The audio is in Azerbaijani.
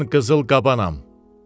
Mən qızıl qabanam.